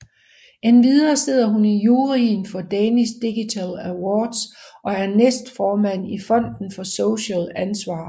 Endvidere sidder hun i juryen for Danish Digital Awards og er næstformand i Fonden for Socialt Ansvar